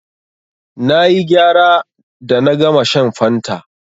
Na yi gyara da na gama shan fanta.